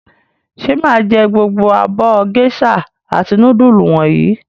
Ṣé mà á jẹ gbogbo abọ́ géíṣà àti núdúlù wọ̀nyí?